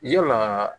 Yalaa